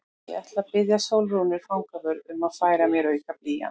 Ég ætla að biðja Sólrúnu fangavörð um að færa mér auka blýant.